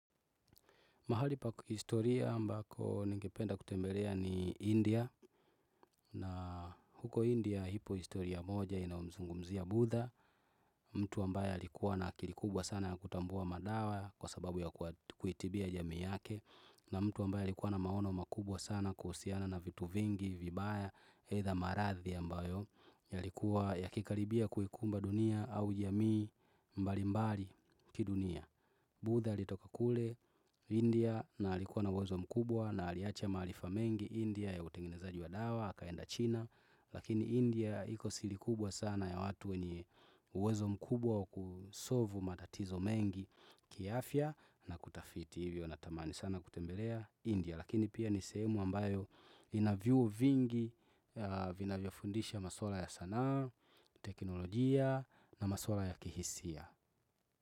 Mahali pa historia ambako ningependa kutembelea ni India na huko India ipo historia moja inayomzungumzia budha mtu ambaye alikuwa na akili kubwa sana ya kutambua madawa kwa sababu ya kuitibia jamii yake na mtu ambaye alikuwa na maono makubwa sana kuhusiana na vitu vingi vibaya either maradhi ambayo yalikuwa yakikaribia kuikumba dunia au jamii mbali mbali kidunia. Budha alitoka kule India na alikuwa na uwezo mkubwa na aliacha maarifa mengi India ya utengenezaji wa dawa, akaenda China Lakini India iko siri kubwa sana ya watu wenye uwezo mkubwa wa kusolvu matatizo mengi kiafya na kutafiti Hivyo natamani sana kutembelea India Lakini pia ni sehemu ambayo ina viu vingi vinavyofundisha maswala ya sanaa, teknolojia na maswala ya kihisia.